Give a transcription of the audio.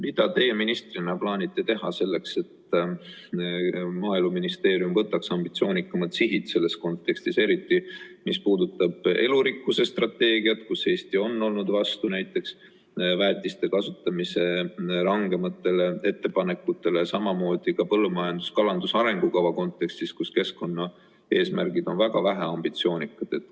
Mida teie ministrina plaanite teha selleks, et Maaeluministeerium võtaks ambitsioonikamad sihid selles kontekstis, eriti, mis puudutab elurikkuse strateegiat, kus Eesti on olnud vastu näiteks väetiste kasutamise rangematele ettepanekutele, samamoodi põllumajanduse ja kalanduse arengukava kontekstis, kus keskkonnaeesmärgid on väga väheambitsioonikad?